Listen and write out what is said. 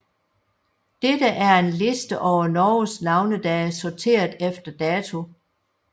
Dette er en liste over Norges navnedage sorteret efter dato